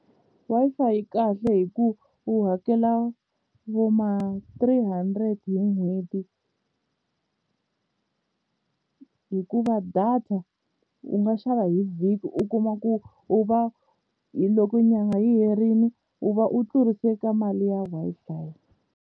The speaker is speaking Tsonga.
Wi-Fi yi kahle hi ku u hakela vo ma-three hundred hi n'hweti hikuva data u nga xava hi vhiki u kuma ku u va hi loko nyanga yi herile u va u tlurise ka mali ya Wi-Fi.